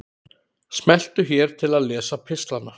Smelltu hér til að lesa pistlana